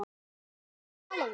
Komdu og talaðu við mig